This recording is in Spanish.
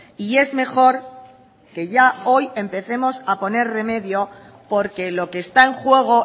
y es mejor que ya hoy empecemos a poner remedio porque lo que está en juego